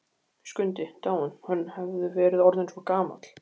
Skundi dáinn, hann hafði verið orðinn svo gamall.